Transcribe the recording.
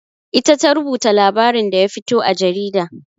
Ita ta rubuta labarin da ya fito a jarida.